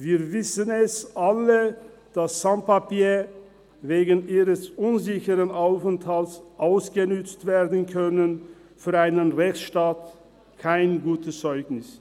Wir wissen alle, dass Sans Papiers wegen ihres unsicheren Aufenthalts ausgenützt werden können – für einen Rechtsstaat ist das kein gutes Zeugnis.